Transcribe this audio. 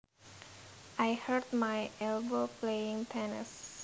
I hurt my elbow playing tennis